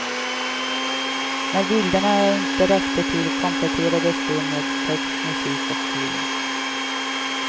När bilderna inte räckte till kompletterades de med text, musik och film.